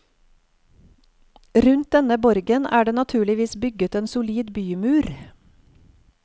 Rundt denne borgen er det naturligvis bygget en solid bymur.